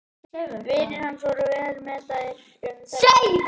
Vinir hans voru vel meðvitaðir um þetta vandamál.